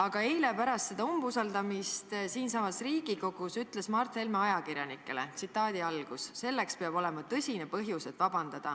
Aga eile pärast umbusaldushääletust siinsamas Riigikogus ütles Mart Helme ajakirjanikele: "Selleks peab ikkagi tõsine põhjus olema.